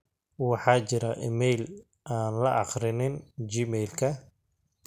waxaa jira iimayl aan la aqrinin gmailka